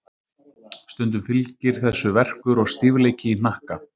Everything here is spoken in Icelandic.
Stundum fylgir þessu verkur og stífleiki í hnakka.